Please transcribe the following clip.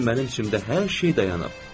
İndi mənim içimdə hər şey dayanıb.